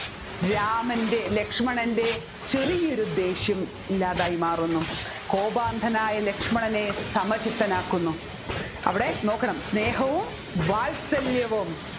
രാമൻെറ ലക്ഷ്മണൻെറ ചെറിയൊരു ദേഷ്യം ഇല്ലാതായി മാറുന്നു കോപാന്ധനായ ലക്ഷ്മണന് സമചിത്തനാക്കുന്നു അവിടെ നോക്കണം സ്നേഹവും വാത്സല്യവും